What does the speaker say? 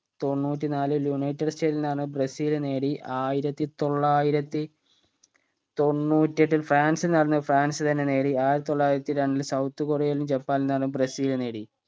തൊണ്ണൂറ്റിനാലിൽ United സ്റ്റേറ്റ്സ്ൽ നടന്നത് Brazil നേടി ആയിരത്തി തൊള്ളായിരത്തി തൊണ്ണൂറ്റിയെട്ടിൽ ഫ്രാൻസിൽ നടന്നത് ഫ്രാൻസ് തന്നെ നേടി ആയിരത്തി തൊള്ളായിരത്തി രണ്ട് south കൊറിയയിലും ജപ്പാനിലും നടന്നത് ബ്രസീൽ നേടി